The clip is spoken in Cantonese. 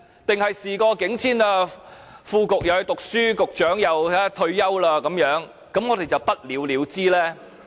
還是事過境遷，副局長讀書，局長又退休，於是不了了之呢？